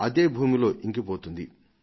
అది భూమిలోకి ఇంకిపోతుంది